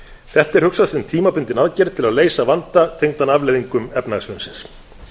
þetta er hugsað sem tímabundin aðgerð til að leysa vanda tengdan afleiðingum efnahagshrunsins